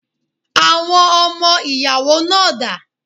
Àwọn ọmọ ìyàwó náà dà?